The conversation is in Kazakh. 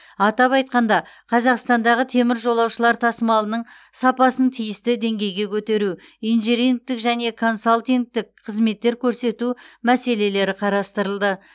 атап айтқанда қазақстандағы темір жолаушылар тасымалының сапасын тиісті деңгейге көтеру инжинирингтік және консалтингтік қызметтер көрсету мәселелері қарастырылды